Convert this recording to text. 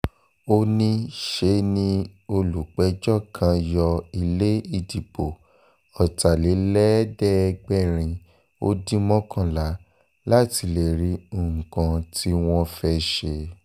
ó ní ṣe ni olùpẹ̀jọ́ kan yọ ilé ìdìbò ọ̀tàlélẹ́ẹ̀ẹ́dẹ́gbẹ̀rin ó dín mọ́kànlá láti lè rí nǹkan tí wọ́n fẹ́